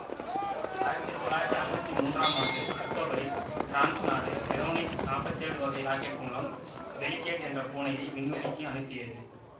ஆயிரத்தி தொள்ளாயிரத்தி அறுவத்தி மூன்றாம் ஆண்டு அக்டோபரில் பிரான்சு நாடு வெரோனிக் நாப்பத்தி ஏழு வகை ராக்கெட் மூலம் பெலிக்கேட் என்ற பூனையை விண்வெளிக்கு அனுப்பியது